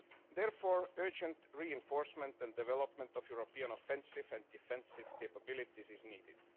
Therefore, urgent reinforcement and development of European offensive and defensive capabilities is needed.